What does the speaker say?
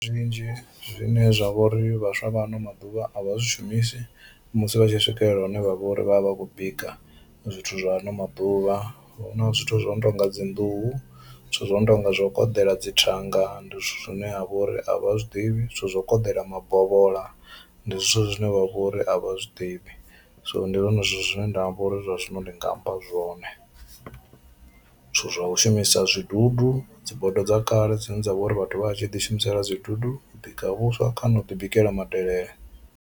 Zwinzhi zwine zwa vha uri vhaswa vha ano maḓuvha a vha zwi shumisi musi vha tshi swikelela hune vha vha uri vha vha vha khou bika zwithu zwa ano maḓuvha hu na zwithu zwo no tonga dzi nḓuhu, zwithu zwo no tonga zwo koḓela dzi thanga ndi zwithu zwine ha vha uri a vha zwiḓivhi zwithu zwa u koḓela mabovhola ndi zwithu zwine vha vha uri a vha zwi ḓivhi. So ndi zwone zwithu zwine nda amba uri zwa zwino ndi nga amba zwone, zwithu zwa u shumisa zwidudu dzi bodo dza kale dzine dza vha uri vhathu vha vha tshi ḓi shumisela zwidudu u bika vhuswa kana u ḓi bikela madelele.